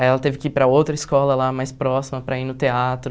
Aí ela teve que ir para outra escola lá, mais próxima, para ir no teatro.